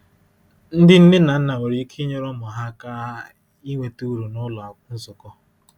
Ndị nne na nna nwere ike inyere ụmụ ha aka inweta uru n’ụlọ nzukọ.